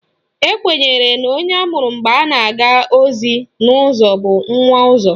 Ekwenyere na onye amụrụ mgbe a na-aga ozi n'ụzọ bụ Nwaụzọ